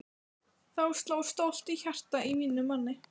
Þá sló stolt hjarta í mínum manni!